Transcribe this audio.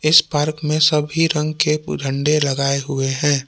इस पार्क में सभी रंग के झंडे लगाए हुए हैं।